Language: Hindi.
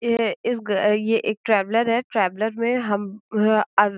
ये इस गा ये एक ट्रैवलर है ट्रैवलर में हम --